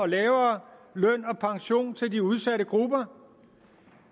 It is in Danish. lavere pension til de udsatte grupper